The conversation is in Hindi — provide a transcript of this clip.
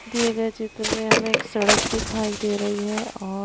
दिए गए चित्र में हमें एक सड़क दिखाई दे रही है और--